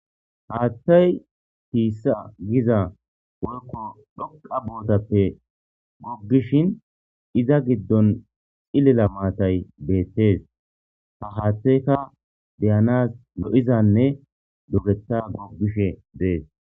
haattay tiissa giza woykko dhoqa bootappe goggishin iza giddon xillila maatay beettees ha haatteyka deyanas no7izanne dobeta goggishe dees